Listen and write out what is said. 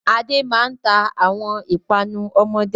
Adé máa ń ta àwọn ìpanu ọmọdé.